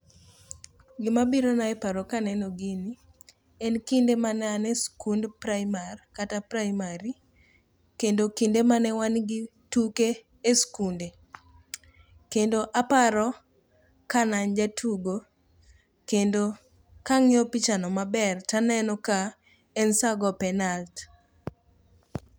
Gimabirona e paro kaneno gini, en kinde mane an e skund praimar kata praimari kendo kinde mane wangi tuke e skunde, kendo aparo ka na an jatugo kendo kang'iyo pichano maber taneno ka en sa go penalt.